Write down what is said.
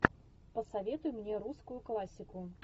посоветуй мне русскую классику